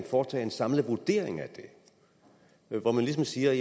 foretage en samlet vurdering af det hvor man ligesom siger